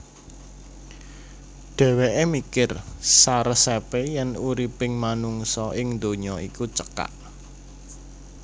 Dhèwèké mikir saresepé yèn uriping manungsa ing donya iku cekak